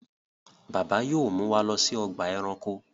Bàbá yóò mú wá ló sí Ọgbà ẹranko.